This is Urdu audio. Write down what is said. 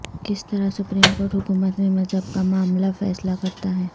کس طرح سپریم کورٹ حکومت میں مذہب کا معاملہ فیصلہ کرتا ہے